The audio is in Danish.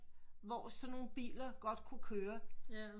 Hvor sådan nogle biler godt kunne køre